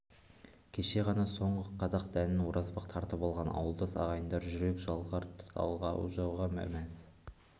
кеше ғана соңғы қадақ дәнін оразбақ тартып алған ауылдас ағайындар жүрек жалғар талғажауға да мәз